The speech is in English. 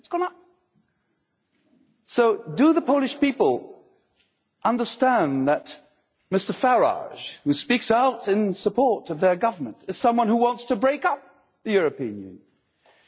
It has gone up. So, do the Polish people understand that Mr Farage, who speaks out in support of their Government, is someone who wants to break up the European Union?